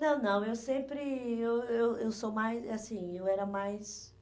Não, não, eu sempre, eu eu eu sou mais, assim, eu era mais